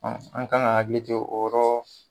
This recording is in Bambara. Ɔn an kan ka hakili te o rɔ